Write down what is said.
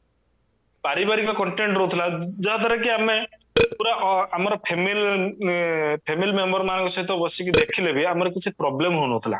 ପାରିବାରିକ content ରହୁଥିଲା ଯାହା ଦ୍ଵାରା କି ଆମେ ପୁରା a ଆମର family member ମାନଙ୍କ ସହିତ ବସିକି ଦେଖିଲେ ବି ଆମର କିଛି problem ହଉନଥିଲା